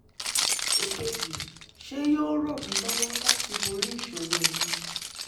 èkejì ṣé yóò ràn mí lọ́wọ́ láti borí ìṣòro mi?